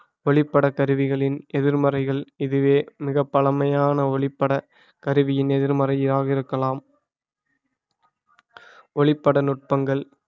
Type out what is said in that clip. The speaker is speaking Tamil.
ஒளிப்பட கருவிகளின் எதிர்மறைகள் இதுவே மிகப் பழமையான ஒளிப்பட கருவியின் எதிர்மறையாக இருக்கலாம் ஒளிப்பட நுட்பங்கள்